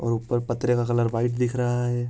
और ऊपर पतरे का कलर वाइट दिख रहा है।